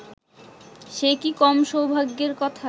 সে কি কম সৌভাগ্যের কথা